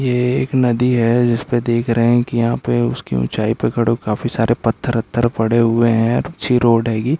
ये एक नदी है जिसपे देख रहे हैं की यहाँ पे उसकी ऊंचाई पे काफी सारे पत्थर वथर पड़े हुए हैं अच्छी रोड है ये।